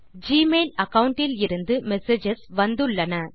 Gmail account இலிருந்து messages வந்துள்ளன